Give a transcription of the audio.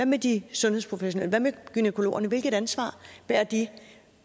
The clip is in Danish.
med de sundhedsprofessionelle hvad med gynækologerne hvilket ansvar bærer de